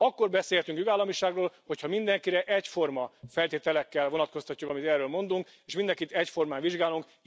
Akkor beszélhetünk jogállamiságról, hogyha mindenkire egyforma feltételekkel vonatkoztatjuk, amit erről mondunk, és mindenkit egyformán vizsgálunk.